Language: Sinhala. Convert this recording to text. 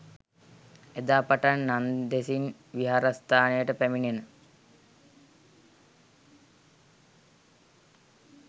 එදා පටන් නන්දෙසින් විහාරස්ථානයට පැමිණෙන